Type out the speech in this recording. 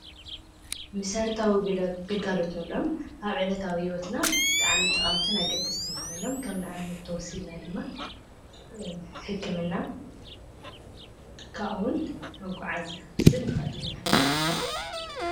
መሰረታዊ ግልጋሎት እንብሎም ኣብ ዕለታዊ ሂወትና ብጣዕሚ ጠቀምትን ኣገደስትን ኮይኖም ከም ንኣብነት ተወሲድና ድማ ሕክምና ከምኡውን መጓዓዝያ ክንወስድ ንኽእል ኢና፡፡